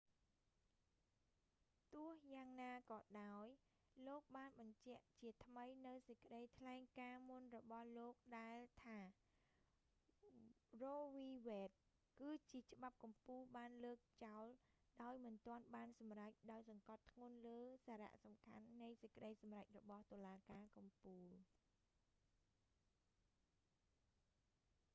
ទោះយ៉ាងណាក៏ដោយ លោកបានបញ្ជាក់ជាថ្មីនូវសេចក្តីថ្លែងការណ៍មុនរបស់លោកដែលថា រ៉ូវី វេដ roe v wade គឺជាច្បាប់កំពូលបានលើកចោលដោយមិនទាន់បានសម្រេច ដោយសង្កត់ធ្ងន់លើសារសំខាន់នៃសេចក្តីសម្រេចរបស់តុលាការកំពូល